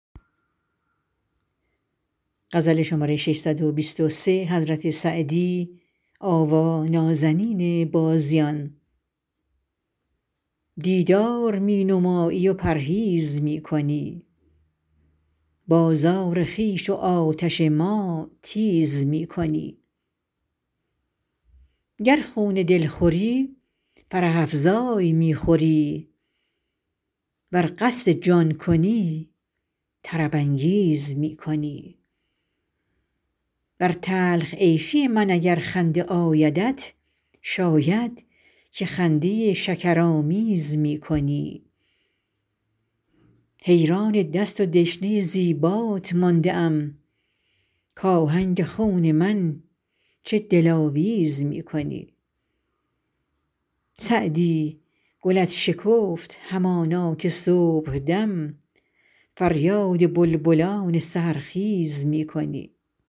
دیدار می نمایی و پرهیز می کنی بازار خویش و آتش ما تیز می کنی گر خون دل خوری فرح افزای می خوری ور قصد جان کنی طرب انگیز می کنی بر تلخ عیشی من اگر خنده آیدت شاید که خنده شکرآمیز می کنی حیران دست و دشنه زیبات مانده ام کآهنگ خون من چه دلاویز می کنی سعدی گلت شکفت همانا که صبحدم فریاد بلبلان سحرخیز می کنی